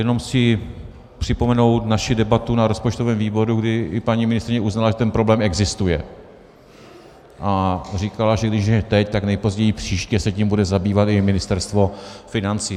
Jenom chci připomenout naši debatu na rozpočtovém výboru, kdy i paní ministryně uznala, že ten problém existuje, a říkala, že když ne teď, tak nejpozději příště se tím bude zabývat i Ministerstvo financí.